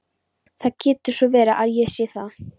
Það getur svo sem verið að ég sé það.